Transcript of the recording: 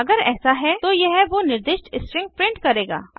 अगर ऐसा है तो यह वो निर्दिष्ट स्ट्रिंग प्रिंट करेगा